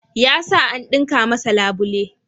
Ya sa an ɗinka masa labule.